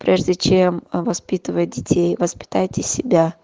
прежде чем воспитывать детей воспитывайте себя